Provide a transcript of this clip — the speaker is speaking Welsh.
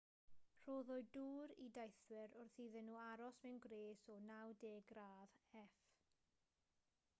rhoddwyd dŵr i deithwyr wrth iddyn nhw aros mewn gwres o 90 gradd f